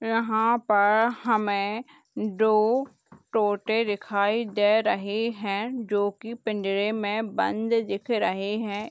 यहाँ पर हमें दो टोटे दिखाई दे रहें हैं जो की पिंजरे में बंद दिख रहें है।